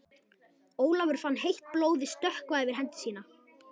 Ólafur fann heitt blóðið stökkva yfir hendi sína.